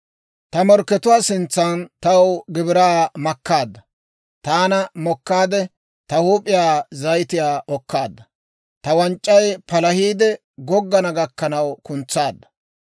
Ta morkkatuwaa sintsan taw gibiraa makkaadda. Taana mokkaad, ta huup'iyaa zayitiyaa okkaadda. Ta wanc'c'ay palahiide goggana gakkanaw kuntsaadda.